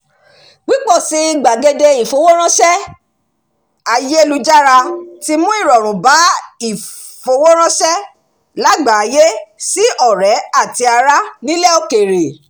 pípọ̀ sí i àwọn gbàgede ìfowóránṣẹ́ ayélujára tí mú ìrọ̀rùn bá ìfowóránṣẹ́ lágbàáyé sí ọ̀rẹ́ àti ará nílẹ̀ òkèrè